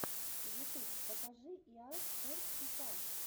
ютуб покажи иа спортс фифа